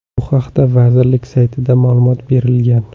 Bu haqda vazirlik saytida ma’lumot berilgan.